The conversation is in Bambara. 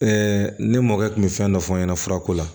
ne mɔkɛ kun bɛ fɛn dɔ fɔ n ɲɛna furako la